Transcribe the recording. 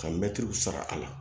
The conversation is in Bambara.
Ka mɛtiriw sara a la